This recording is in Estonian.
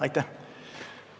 Aitäh!